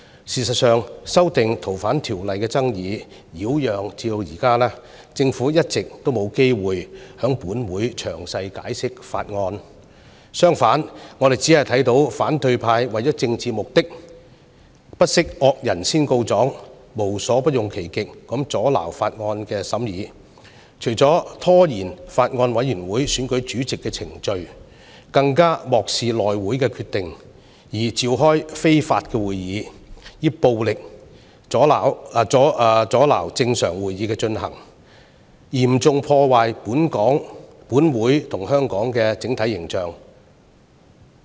事實上，《條例草案》的爭議擾攘至今，政府一直沒有機會在本會詳細解釋《條例草案》，相反，我們只看到反對派為了政治目的，不惜惡人先告狀，無所不用其極地阻撓《條例草案》的審議，除了拖延法案委員會選舉主席的程序，更漠視內務委員會的決定，召開非法會議，以暴力阻撓正常會議的進行，嚴重破壞本會和香港的整體形象。